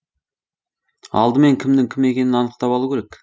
алдымен кімнің кім екенін анықтап алу керек